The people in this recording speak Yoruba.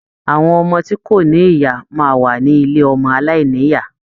Àwọn ọmọ tí kò ní ìyá máa wá ní ilé ọmọ aláìnìyá.